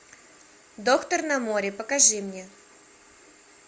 доктор на море покажи мне